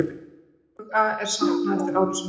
Tuga er saknað eftir árásina.